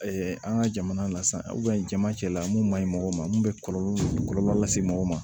an ka jamana na sisan jama cɛla mun man ɲi mɔgɔ ma mun bɛ kɔlɔlɔ lase mɔgɔ ma